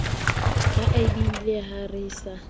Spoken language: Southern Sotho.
la abiele ha re sa